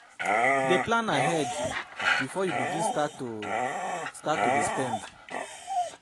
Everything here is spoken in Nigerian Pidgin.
Dey plan ahead bifor yu begin start to start to dey spend